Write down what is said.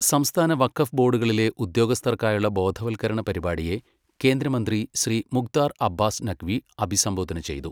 സംസ്ഥാന വഖഫ് ബോർഡുകളിലെ ഉദ്യോഗസ്ഥർക്കായുള്ള ബോധവൽക്കരണ പരിപാടിയെ കേന്ദ്ര മന്ത്രി ശ്രീ മുക്താർ അബ്ബാസ് നഖ്വി അഭിസംബോധന ചെയ്തു